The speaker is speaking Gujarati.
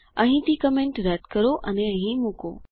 અહીંથી કમેન્ટ રદ કરો અને અહીં મૂકો